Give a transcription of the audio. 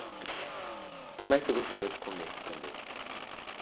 O que mais você gostava de comer também?